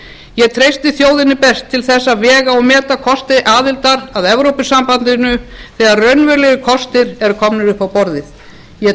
ég treysti þjóðinni best til að vega og meta kosti aðildar að evrópusambandinu þegar raunverulegir kostir eru komnir upp á borðið ég